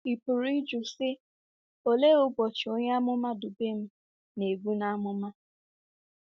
Ị pụrụ ịjụ, sị, ‘Olee “ụbọchị” onye amụma Dubem na-ebu n’amụma? '